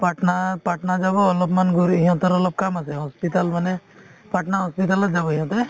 পাটনাত~ পাটনা যাব অলপমান ঘূৰি সিহঁতৰ অলপ কাম আছে hospital মানে পাটনা hospital ত যাব সিহঁতে